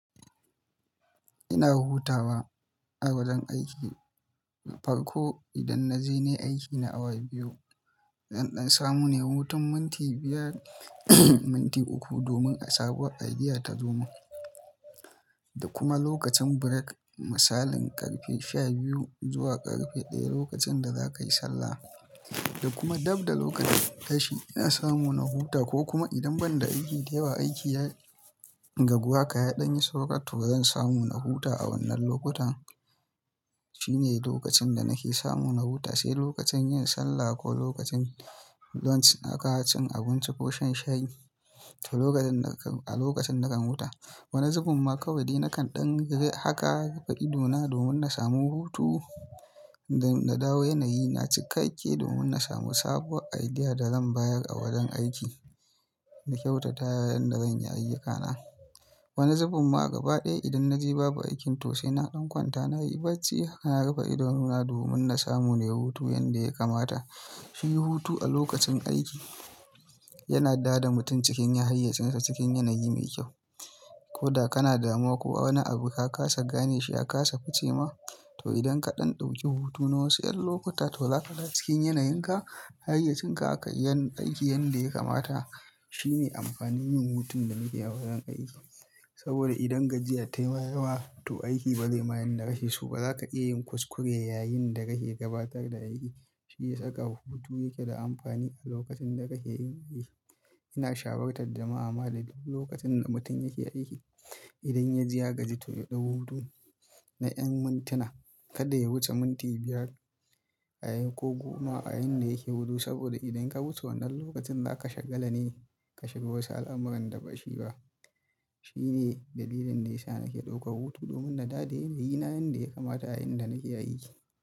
Ina hutawa a wajen aiki, farko idan na je na yi aikina awa biyu, zan ɗan samu ne hutu minti biyar minti uku domin a sabuwa idea ta zo min. Da kuma lokacin break, misalin ƙarfe shabiyu zuwa ƙarfe ɗaya lokacin da za ka yi sallah. Da kuma dabda lokacin tashi ina samu na huta ko kuma idan ban da aiki da yawa aiki ya ragu haka ya ɗan yi saura to zan samu na huta a wannan lokutan. Shine lokacin da nake samu na huta, sai lokacin yin sallah ko lokacin lunch naka cin abinci ko shan shayi to lokacin naka-- a lokacin nakan huta. Wani zubun ma kawai ni nakan ɗan rufe haka rufe idona domin na samu hutu da na dawo yanayi na cikakke domin na samu sabuwar idea da zan bayar a wajen aiki na kyautata yayin da zanyi ayyukana. Wani zubun ma gaba ɗaya idan na je babu aikin to sai na ɗan kwanta nayi bacci haka na rufe idona domin na samu ne hutu yanda ya kamata. Shi hutu a lokacin aiki yana da da mutum cikin hayyayyatsinsa cikin yanayi mai kyau. Ko da kana damuwa ko wani abu ka kasa gane shi aka kasa ficewa to idan ka ɗan ɗauki hutu na wasu ƴan lokuta to za ka dawo cikin yanayinka, hayyayyatsinka aka iya yin aiki yanda ya kamata. Shine amfanin yin hutun da muke yi a wajen aiki. Saboda idan gajiya ta yi mama to aiki ba zai ma yan na kashe su ba, zaka iya yin kuskure yayin da kake gabatar da aiki. Shi ya saka hutu yake da amfani a lokacin da kake yin aiki. Ina shawarar da ma'amali lokacin da mutum yake aiki, idan ya ji ya gaji to ya ɗau hutu na ƴan mintuna, kada ya wuce minti biyar a yayin ko goma a yayin da yake hutu saboda idan ka wuce wannan lokacin za ka shagala ne ka shiga wasu al'amuran da ba shi ba. Shine dalilin da yasa nake ɗaukar hutu domin na daade da yanayi na yanda ya kamata a yayin da nake aiki.